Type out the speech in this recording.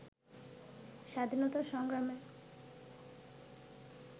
স্বাধীনতা সংগ্রামে